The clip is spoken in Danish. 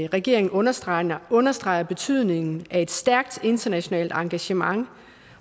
regeringen understreger understreger betydningen af et stærkt internationalt engagement